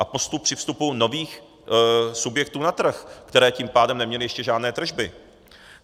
A postup při vstupu nových subjektů na trh, které tím pádem neměly ještě žádné tržby.